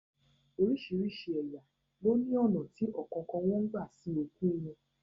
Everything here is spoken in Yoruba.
Orísìírísìí ẹ̀yà ló ní ọ̀nà tí ọ̀kọ̀ọ̀kan wọn ń gbà sin òkú u wọn